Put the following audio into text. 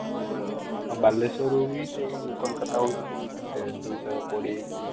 ଆଉ ବାଲେଶ୍ଵରରୁ ବି ସେଇ କୋଲକାତା ହଉଛି କେତେ ଦୁଇଶହ କୋଡିଏ କି